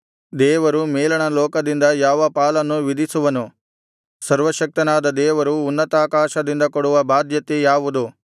ದೇವರು ಮೇಲಣ ಲೋಕದಿಂದ ಯಾವ ಪಾಲನ್ನು ವಿಧಿಸುವನು ಸರ್ವಶಕ್ತನಾದ ದೇವರು ಉನ್ನತಾಕಾಶದಿಂದ ಕೊಡುವ ಬಾಧ್ಯತೆ ಯಾವುದು